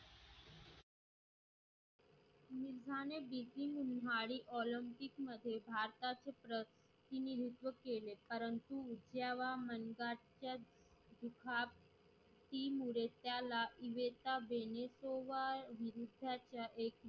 उन्हाळी Olympic मध्ये भारताचे प्रतिनिधित्व केले परंतु इत्याव्या महिवालच्या